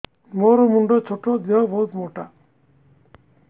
ମୋର ମୁଣ୍ଡ ଛୋଟ ଦେହ ବହୁତ ମୋଟା